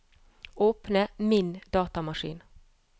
åpne Min datamaskin